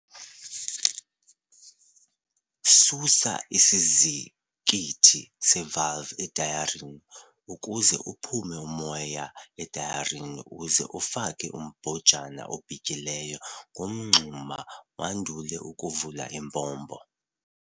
Susa isizikithi sevalvu etayareni ukuze uphume umoya etayareni uze ufake umbhojana obhityileyo ngomngxuma wandule ukuvula impompo.